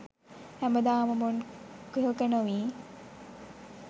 හැමදාම මෙන් කුහක නොවී